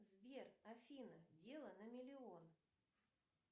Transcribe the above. сбер афина дело на миллион